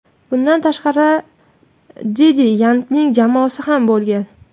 Bundan tashqari, Deddi Yankining jamoasi ham bo‘lgan.